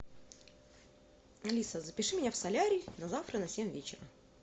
алиса запиши меня в солярий на завтра на семь вечера